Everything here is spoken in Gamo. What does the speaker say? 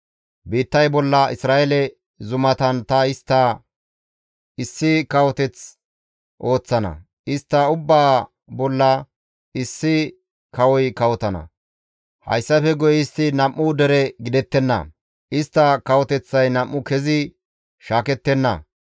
Biittay bolla Isra7eele zumatan ta istta issi kawoteth ooththana; istta ubbaa bolla issi kawoy kawotana. Hayssafe guye istti nam7u dere gidettenna; istta kawoteththay nam7u kezi shaakettenna.